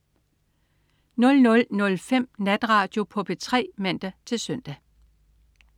00.05 Natradio på P3 (man-søn)